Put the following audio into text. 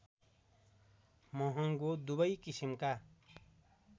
महङ्गो दुवै किसिमका